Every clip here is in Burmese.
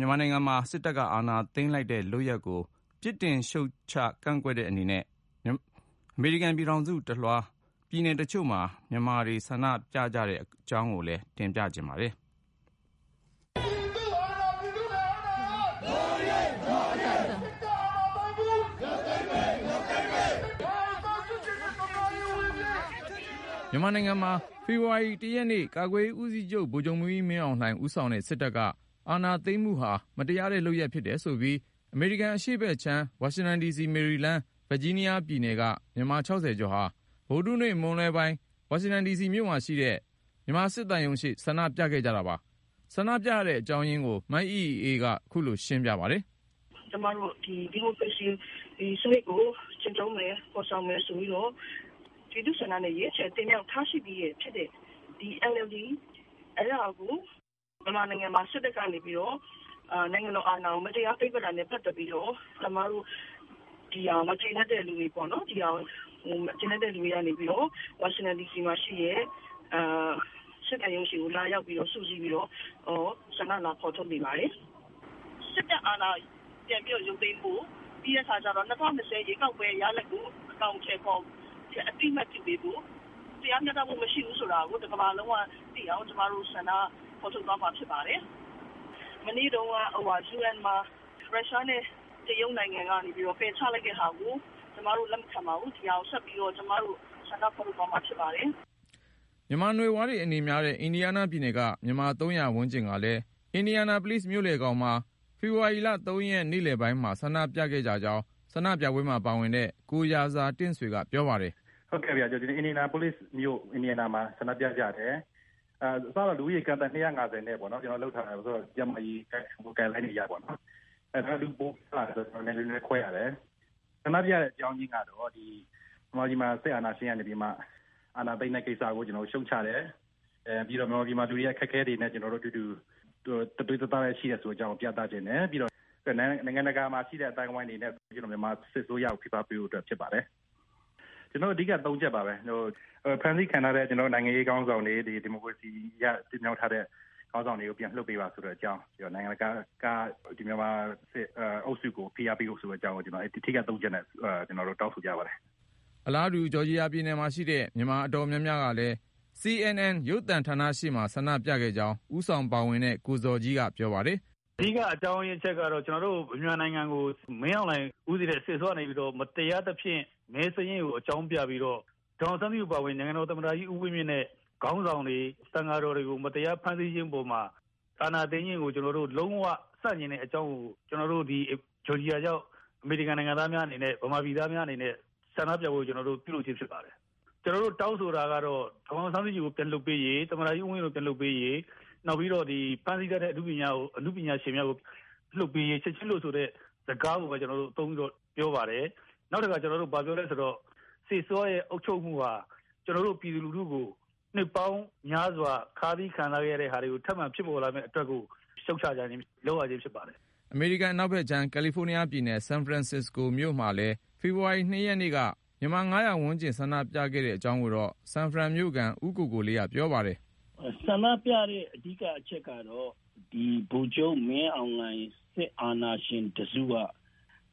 မြန်မာနိုင်ငံမှာ စစ်တပ်က အာဏာသိမ်းလိုက်တဲ့ လုပ်ရပ်ကို ပြစ်တင်ရှုတ်ချ ကန့်က ွက်တဲ့ အနေနဲ့ အမေရိကန်ပြည်ထောင်စုတလွှား ပြည်နယ်တချို့မှာ မြန်မာတွေ ဆန္ဒပြကြတဲ့ အကြောင်းကို ကိုဉာဏ်ဝင်းအောင်က စုစည်း တင်ပြထားပါတယ်။ မြန်မာနိုင်ငံမှာ ဖေဖေါ်ဝါရီ ရက်နေ့ ကာကွယ်ရေးဦးစီးချုပ် ဗိုလ်ချုပ်မှူးကြီး မင်းအောင်လှိုင် ဦးဆောင်တဲ့ စစ်တပ်က အာဏာသိမ်းမှုဟာ မတရားတဲ့ လုပ်ရပ်ဖြစ်တယ်ဆိုပြီး အမေရိကန် အရှေ့ဘက်ခြမ်း ဝါရှင်တန်ဒီစီ ၊ မေရီလန်း ၊ ဗာဂျီးနားယားပြည်နယ်တွေက မြန်မာ ကျော်ဟာ ဗုဒဟူးနေ့ မွန်းလွဲပိုင်း ဝါရှင်တန်ဒီစီမှာရှိတဲ့ မြန်မာစစ်သံရုံးရှေ့ဆန္ဒပြကြပါတယ်။ ဆန္ဒပြရတဲ့ အကြောင်းရင်းကို မအိအိအေးက ခုလို ရှင်းပြပါတယ်။ “ကျမတို့ ဒီ ဒီမိုကရေစီ စနစ်ကို ကျင်းသုံးမယ် ဖေါ်ဆောင်မယ်ဆိုပြီးတော့ ပြည်သူ့ဆန္ဒနဲ့ ရွေးချယ်တင်မြှောက်ထားပြီးသားဖြစ်တဲ့ ဒီ NLD အစိုးရကို မြန်မာနိုင်ငံမှာ စစ်တပ်က နိုင်ငံတော်အာဏာကို မတရား သိမ်းပိုက်ခဲ့တာနဲ့ ပတ်သက်ပြီးတော့ ဒါကိုမကြေနပ်တဲ့အတွက် ကျမတို့ ဝါရှင်တန်ဒီစီမှာရှိတဲ့ စစ်သံရုံးရှေ့ လာရောက်ပြီး ဆန္ဒဖေါ်ထုတ်နေပါတယ်။ စစ်တပ်အာဏာ ပြန်လည်ရုပ်သိမ်းဖို့ ၊ ၂၀၂၀ ရွေးကောက်ပွဲ ရလဒ်ကို အသိအမှတ်ပြု အကောင်အထည်ဖေါ်ပေးဖို့နဲ့ တရားမျှတမှု မရှိဘူးဆိုတာကို ကမ္ဘာကသိအောင် ကျမတို့ ဖေါ်ထုတ်သွားမှာ ဖြစ်ပါတယ်။ မနေ့တုန်းက ကုလသမဂ္ဂမှာ မြန်မာ့အရေး အရေးပေါ်ဆွေးနွေးချိန်မှာ တရုတ်နဲ့ ရုရှားက ပယ်ချလိုက်တာကို ကျမတို့ လက်မခံပါဘူး။ ဒါကို ကျမတို့ ဆက်ပြီးဆန္ဒပြသွားမှာ ဖြစ်ပါတယ်။” မြန်မာနွယ်ဖွားတွေ အနေများတဲ့ အင်ဒီယားနားပြည်နယ်က မြန်မာ ၃၀၀ ဝန်းကျင်ကလည်း အင်ဒီယာနာပိုလိစ်မြို့လယ်ခေါင်မှာ ဖေဖေါ်ဝါရီ ၃ ရက် နေ့လည်မှာ ဆန္ဒပြခဲ့ကြကြောင်း ဆန္ဒပြပွဲမှာပါတဲ့ ကိုရာဇာတင့်ဆွေက ပြောပါတယ်။ “အင်ဒီယားနားပြည်နယ် အင်ဒီယာနာပိုလိစ်မြို့မှာ ဆန္ဒပြကြတာပါ။ ကိုဗစ် ကျန်းမာရေးစည်းကမ်းတွေနဲ့အညီ အစက လူ ၂၅၀ လောက်နဲ့ ဆန္ဒပြဖို့ စီစဉ်ခဲ့ပေမယ့် လက်တွေ့မှာ လူပိုများလာလို့ လူခွဲပြီးဆန္ဒပြရတယ်။ ဆန္ဒပြရတာကတော့ မြန်မာပြည်မှာ စစ်အာဏာသိမ်းတဲ့ ကိစ္စကို ကျနော်တို့ ရှုတ်ချတယ်။ ပြီးတော့ မြန်မာပြည်မှာ လူတွေအခက်အခဲ ကြုံနေရတာကို သူတို့နဲ့အတူ တသွေးတသားထဲ ရှိတယ်ဆိုတာကို ပြသချင်တယ်။ ပြီးတော့ နိုင်ငံတကာ အသိုင်းအဝိုင်းက မြန်မာစစ်အစိုးရကို ဖိအားပေးဖို့ ဖြစ်ပါတယ်။ ကျနော်တို့ တောင်းဆိုတာ ၃ ချက်က ဖမ်းဆီးခံထားရတဲ့ နိုင်ငံရေးခေါင်းဆောင်တွေ ၊ ဒီမိုကရေစီနည်းအရ တင်မြှောက်ထားတဲ့ ဖမ်းဆီးခံ ခေါင်းဆောင်တွေကို ပြန်လွှတ်ပေးပါ ဆိုတဲ့အကြောင်း၊ ပြီးတော့ နိုင်ငံတကာက မြန်မာစစ်အုပ်စုကို ဖိအားပေးဖို့ ဆိုတဲ့အကြောင်း အဓိက တောင်းဆိုကြပါတယ်။” အလားတူ ဂျော်ဂျီယာပြည်နယ်မှာရှိတဲ့ မြန်မာအတော်များများကလည်း ပြည်နယ်ရဲ့မြို့တော် အတ္တလန္တာမှာရှိတဲ့ CNN ရုပ်သံဌာနရှေ့ ဆန္ဒပြခဲ့ကြောင်း ဦးဆောင်ပါဝင်တဲ့ ကိုဇော်ကြီးက ပြောပါတယ်။ “အဓိက အကြောင်းကတော့ ကျနော်တို့မြန်မာနိုင်ငံကို မင်းအောင်လှိုင်ဦးစီးတဲ့ စစ်အစိုးရကနေပြီးတော့ မတရားသဖြင့် မဲစာရင်းကို အကြောင်းပြပြီးတော့ ဒေါ်အောင်ဆန်းစုကြည် အပါဝင် နိုင်ငံတော်သမ္မတကြီး ဦးဝင်မြင့်နဲ့ ခေါင်းဆောင်တွေ သံဃာတော်တွေကို မတရား ဖမ်းဆီးခြင်းအပေါ်မှာ အာဏာသိမ်းခဲ့တာကို ကျနော်တို့ လုံးဝ ဆန့်ကျင်တဲ့အကြောင်းကို ကျနော်တို့ ဂျော်ဂျီယာရောက် မြန်မာ-အမေရိကန်တွေ အနေနဲ့ ဆန္ဒပြပွဲကို ပြုလုပ်ခြင်း ဖြစ်ပါတယ်။ ကျနော်တို့ တောင်းဆိုတာက ဒေါ်အောင်ဆန်းစုကြည်ကို ပြန်လွှတ်ပေးရေး သမ္မတကြီး ဦးဝင်းမြင့်ကို ပြန်လွှတ်ပေးရေး၊ နောက်ပြီး ဖမ်းဆီးထားတဲ့ အနုပညာရှင်များကို ချက်ချင်းလွှတ်ဆိုတာကို တောင်းဆိုပါတယ်။ စစ်အစိုးရနဲ့ အုပ်ချုပ်မှုဟာ ကျနော်တို့ ပြည်သူလူထု နှစ်ပေါင်းများစွာ ခါးစည်းခံစားရတာတွေ ဖြစ်ပေါ်စေခဲ့လို့ ခုလို ရှုတ်ချရခြင်း ဖြစ်ပါတယ်။” အမေရိကန် အနောက်ဖက်ခြမ်း ကယ်လီဖိုးနီးယားပြည်နယ် ဆန်ဖရန်စစ်စကို မြို့မှာလည်း ဖေဖေါ်ဝါရီ ၂ ရက်နေ့က မြန်မာ ၅၀၀ ဝန်းကျင်ဆန္ဒပြခဲ့ကြတဲ့ အကြောင်းကိုတော့ ဆန်ဖရန်မြို့ခံ ဦးကိုကိုလေးက ပြောပါတယ်။ “ ဆန္ဒပြရတဲ့ အဓိက အကြောင်းကတော့ ဗိုလ်ချုပ်မင်းအောင်လှိုင်နဲ့ စစ်အာဏာရှင်တစုက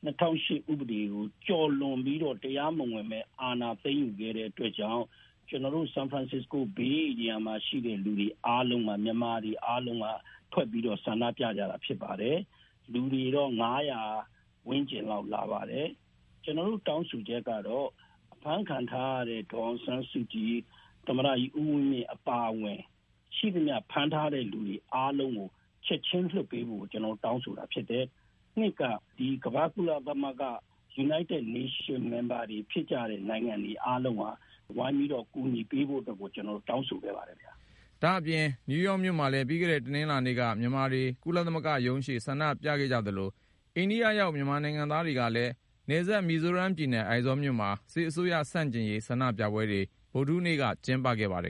၂၀၀၈ ဥပဒေကို ကျော်လွန်ပြီးတော့ တရားမဝင် အာဏာသိမ်းယူခဲ့တဲ့ အတွက်ကြောင့် ကျနော်တို့ ဆန်ဖရန်စစ္စကို ဧရိယာမှာရှိတဲ့ မြန်မာတွေအားလုံး ထွက်ပြီးဆန္ဒပြကြတာ ဖြစ်ပါတယ်။ လူတွေ ၅၀၀ ဝန်းကျင်လာပါတယ်။ ကျနော်တို့ တောင်းဆိုချက်ကတော့ အဖမ်းခံထားရတဲ့ ဒေါ်အောင်ဆန်းစုကြည် ၊ သမ္မတကြီး ဦးဝင်းမြင့် အပါအဝင် ရှိသမျှ ဖမ်းထားတဲ့လူတွေ အကုန်လုံးကို ချက်ချင်းလွှတ်ပေးဖို့ ကျနော်တို့ တောင်းဆိုတာဖြစ်တယ်။ နောက်ပြီး ကုလသမဂ္ဂ အဖွဲ့ဝင်နိုင်ငံတွေကလည်း ဝိုင်းပြီးကူညီပေးဖို့အတွက် ကျနော်တို့ တောင်းဆိုခဲ့ပါတယ်။” နယူးယောက်မြို့မှာလည်း ပြီးခဲ့တဲ့ တနင်္လာနေ့က မြန်မာတွေ ကုလသမဂ္ဂရှေ့ ဆန္ဒပြခဲ့သလို ၊ အိန္ဒိယနိုင်ငံရောက် မြန်မာတွေကလည်း နယ်စပ် မီဇိုးရမ်ပြည်နယ် အိုင်ဇောမြို့မှာ စစ်အစိုးရဆန့်ကျင်ရေး ဆန္ဒပြပွဲတွေ ဗုဒဟူးနေ့က ကျင်းပခဲ့ကြပါတယ်။